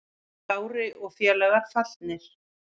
Kári og félagar fallnir